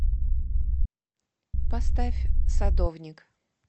поставь садовник